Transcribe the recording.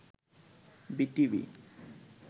BTV